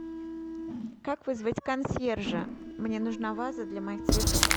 как вызвать консьержа мне нужна ваза для моих цветов